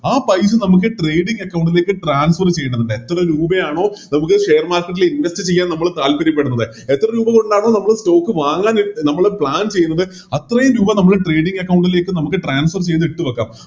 ആ പൈസ നമുക്ക് Trading account ലേക്ക് Transfer ചെയ്യണമെന്നിണ്ട് എത്ര രൂപയാണോ പൊതുവെ Share market ലേക്ക് Invest ചെയ്യാൻ നമ്മൾ താൽപര്യപ്പെടുന്നത് എത്ര രൂപകൊണ്ടാണോ നമ്മള് Stock വാങ്ങാൻ നമ്മള് Plan ചെയ്യുന്നത് അത്രയും രൂപ നമ്മള് Trading account ലേക്ക് നമുക്ക് Transfer ചെയ്ത് ഇട്ട് വെക്കാം